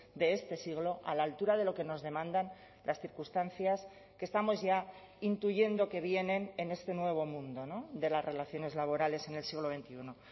de este siglo a la altura de lo que nos demandan las circunstancias que estamos ya intuyendo que vienen en este nuevo mundo de las relaciones laborales en el siglo veintiuno